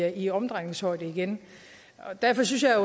i omdrejningshøjde igen derfor synes jeg